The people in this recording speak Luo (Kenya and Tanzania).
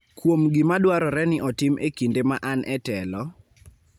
kuom gima dwarore ni otim e kinde ma an e telo,